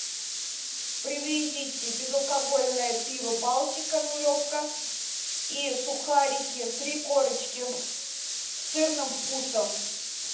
привезите безалкогольное пиво балтика нулевка и сухарики три корочки с сырным вкусом